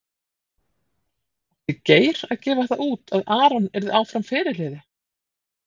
Átti Geir að gefa það út að Aron yrði áfram fyrirliði?